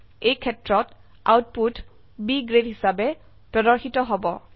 এইক্ষেত্ৰত output B grade হিসাবে প্ৰদৰ্শিত হব